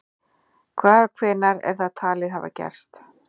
Hvar og hvenær er það talið hafa gerst?